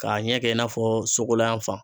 K'a ɲɛ kɛ i n'a fɔ